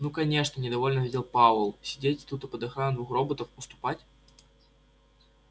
ну конечно недовольно ответил пауэлл а сидеть тут под охраной двух роботов уступать